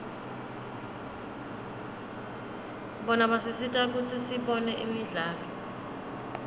bona basisita kutsi sibone imidlalo